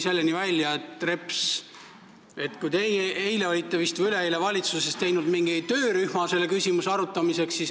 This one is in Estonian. Eile või üleeile te vist tegite valitsuses mingi töörühma selle küsimuse arutamiseks.